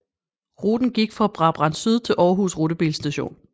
Ruten gik fra Brabrand Syd til Aarhus Rutebilstation